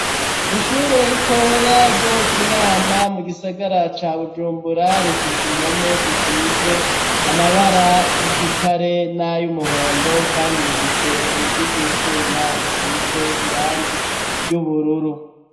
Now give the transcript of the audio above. Ishure ritoya ryo mu kinama mu gisagara ca bujumbura rifise impome zisize amabara y'igitare nay'umuhondo kandi rifise urugi rw'icuma rusize irangi ry'ubururu.